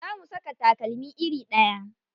Za mu saka takalma iri ɗaya.